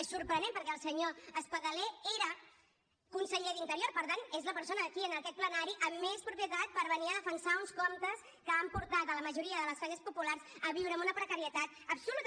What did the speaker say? és sorprenent perquè el senyor espadaler era conseller d’interior per tant és la persona aquí en aquest plenari amb més propietat per venir a defensar uns comptes que han portat la majoria de les classes populars a viure amb una precarietat absoluta